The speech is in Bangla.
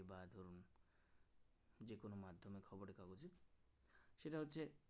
সেটা হচ্ছে